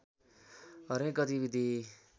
हरेक गतिविधि